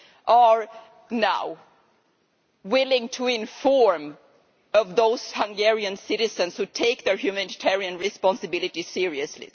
are now willing to inform on those Hungarian citizens who take their humanitarian responsibility seriously.